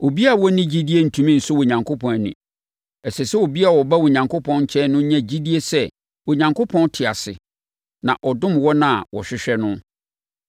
Obiara a ɔnni gyidie rentumi nsɔ Onyankopɔn ani. Ɛsɛ sɛ obiara a ɔba Onyankopɔn nkyɛn no nya gyidie sɛ Onyankopɔn te ase na ɔdom wɔn a wɔhwehwɛ no.